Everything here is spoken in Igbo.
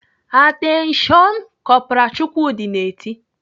"Atenshion nnnn!" Kọpral Chukwudi na-eti.